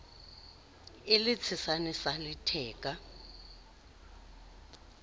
e le tshesane sa theka